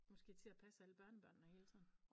Nu skal i til at passe alle børnebørnene hele tiden